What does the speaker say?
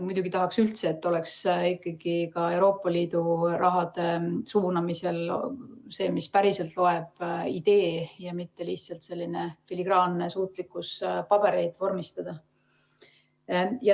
Muidugi tahaks, et ikkagi Euroopa Liidu raha suunamisel oleks see, mis päriselt loeb, idee, mitte lihtsalt filigraanne suutlikkus pabereid vormistada.